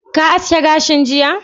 Ka aske gashinka jiya?